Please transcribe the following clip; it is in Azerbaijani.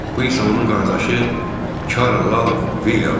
Bu isə onun qardaşı Karl Lal Vilyamdır.